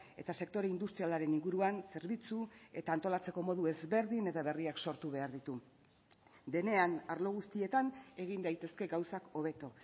eta sektore industrialaren inguruan zerbitzu eta antolatzeko modu ezberdin eta berriak sortu behar ditu denean arlo guztietan egin daitezke gauzak hobeto